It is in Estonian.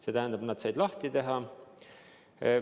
See tähendab, nad said uksed lahti teha.